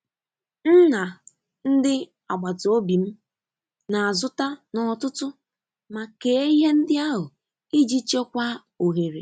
M na ndị agbata obi m na-azụta n’ọtụtù ma kee ihe ndị ahụ iji chekwaa ohere.